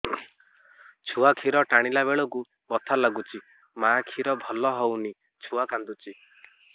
ଛୁଆ ଖିର ଟାଣିଲା ବେଳକୁ ବଥା ଲାଗୁଚି ମା ଖିର ଭଲ ହଉନି ଛୁଆ କାନ୍ଦୁଚି